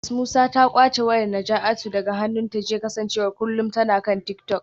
Mrs Musa ta kwace wayar Najatu daga hannunta jiya kasancewar kullum tana kan tik-tok.